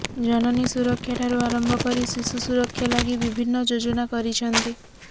ଜନନୀ ସୁରକ୍ଷା ଠାରୁ ଆରମ୍ଭ କରି ଶିଶୁ ସୁରକ୍ଷା ଲାଗି ବିଭିନ୍ନ ଯୋଜନା କରିଛନ୍ତି